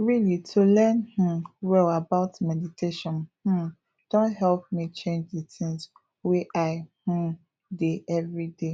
really to learn um well about meditation um don help me change d things wey i um dey everyday